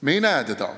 Me ei näe teda.